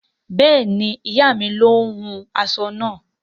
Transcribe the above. Bẹẹni, iya mi ló hún aṣọ náà